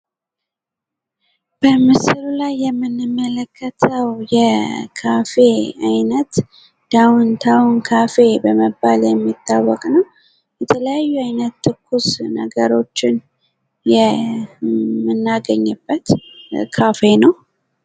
በምስሉ ላይ የምንመለከተው የካፌ አይነት ዳውን ታውን ካፌ በመባል የሚታወቅ ነው። የተለያዩ አይነት ትኩስ ነገሮችን የምናገኝበት ካፌ ነው።